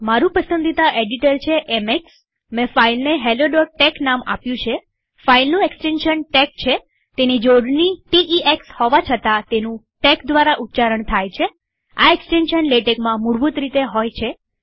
મારું પસંદી એડિટર છે એમેક્સમારી પાસે helloટેક્સ નામની ફાઈલ છેફાઈલનું એક્સ્ટેન્શન ટેક્સ છેતેની જોડણી t e એક્સ હોવા છતાં તેનું ટેક દ્વારા ઉચ્ચારણ થાય છેઆ એક્સ્ટેન્શન લેટેકમાં મૂળભૂત રીતે હોય છે